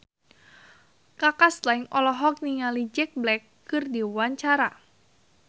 Kaka Slank olohok ningali Jack Black keur diwawancara